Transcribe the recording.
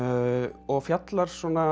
og fjallar svona